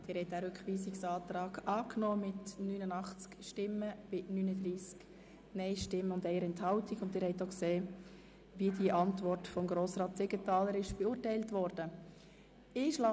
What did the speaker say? Sie haben diesen Rückweisungsantrag angenommen, und Sie haben auch gesehen, wie die Antwort von Grossrätin Mühlheim beurteilt worden ist.